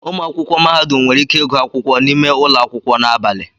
Ụmụ akwụkwọ mahadum nwere ike ịgụ akwụkwọ n'ime ụlọ akwụkwọ na abalị.